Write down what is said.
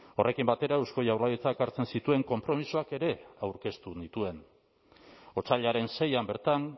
horrekin batera eusko jaurlaritzak hartzen zituen konpromisoak ere aurkeztu nituen otsailaren seian bertan